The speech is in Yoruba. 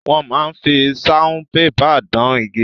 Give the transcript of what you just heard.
Wọ́n máa fi saunpépà dán igi.